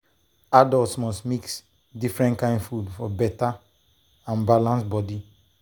adults must dey mix different kain food for better and balance body.